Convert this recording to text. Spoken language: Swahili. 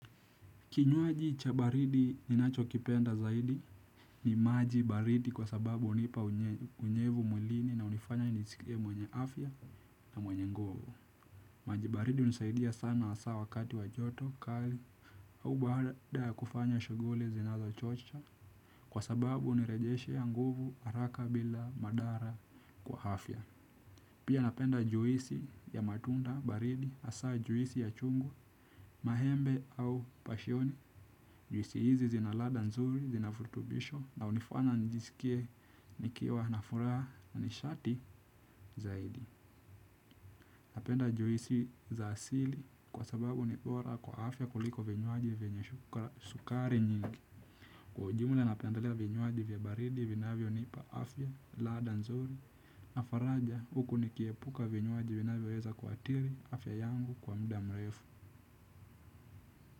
Kinywuaji cha baridi ninacho kipenda zaidi ni maji baridi kwa sababu unipa unyevu mwilini na unifanya nisikie mwenye afya na mwenye nguvu. Kinywuaji cha baridi ninacho kipenda zaidi ni maji baridi kwa sababu unipa unyevu mwilini na unifanya nisikie mwenye afya na mwenye nguvu. Pia napenda juisi ya matunda, baridi, asaa juisi ya chungu, mahembe au pasioni. Juisi hizi zinalada nzuri, zina furutubisho na hunifanya njisikie nikiewa na furaha na nishati zaidi. Napenda juisi za asili kwa sababu ni bora kwa afya kuliko vinywaji vinye sukari nyingi. Kwa ujumula napendelea vinyuaji vya baridi vinavyo nipa Afya, Lada nzuri, na faraja huku nikiepuka vinywaji vina vyo weza kuatiri afya yangu kwa mda mrefu.